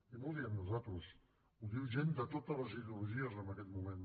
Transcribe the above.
i no ho diem nosaltres ho diu gent de totes les ideologies en aquest moment